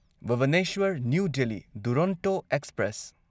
Bhubaneswar new Delhi Duronto express